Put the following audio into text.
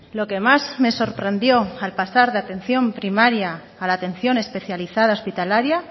lo que más me sorprendió al pasar de atención primaria a la atención especializada hospitalaria